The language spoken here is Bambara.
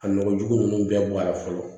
A nɔgɔjugu ninnu bɛɛ bɔ a la fɔlɔ